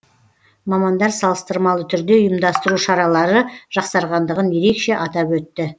мамандар салыстырмалы түрде ұйымдастыру шаралары жақсарғандығын ерекше атап өтті